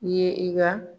I ye i ka